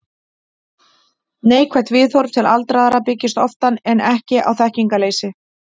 Neikvætt viðhorf til aldraðra byggist oftar en ekki á þekkingarleysi.